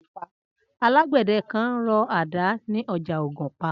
Alágbẹ̀dẹ kan ń rọ àdá ni ọjà Ògùnpa